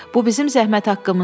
Bu bizim zəhmət haqqımızdır.